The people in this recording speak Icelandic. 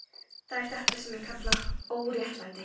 Það er þetta sem ég kalla óréttlæti.